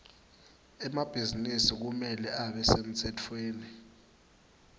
emabhizinisi kumele abe semtsetfweni